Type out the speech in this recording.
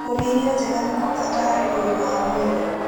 Kũrĩa irio njega nĩ kwa bata harĩ ũgima wa mwĩrĩ.